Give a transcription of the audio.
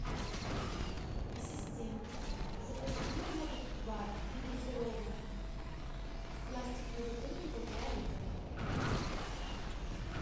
ассистент закажи мне воду кубай негазированную в пластиковой бутылке полтора литра